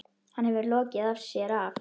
Hann hefur lokið sér af.